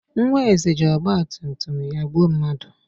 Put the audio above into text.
Nwa Eze ji ọgbatumtum ya gbuo mmadụ